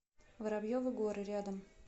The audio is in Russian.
воробьевы горы рядом